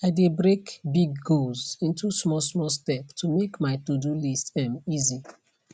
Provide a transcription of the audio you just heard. i de break big goals into smallsmall step to make my todo list um easy